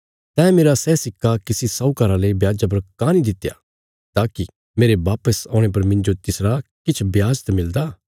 तैं मेरा सै सिक्का किसी सहूकारा ले ब्याजा पर काँह नीं दित्या ताकि मेरे वापस औणे पर मिन्जो तिसरा किछ ब्याज त मिलदा